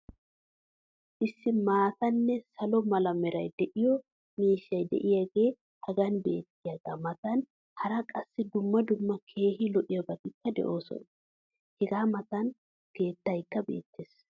issi maatanne salo mala meray de'iyo miishshay diyaagee hagan beetiyaagaa matan hara qassi dumma dumma keehi lo'iyaabatikka de'oosona. hegaa matan keettaykka beetees.